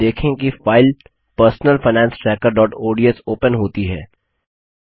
आप देखेंगे कि फाइल पर्सनल फाइनेंस trackerओडीएस ओपन होती है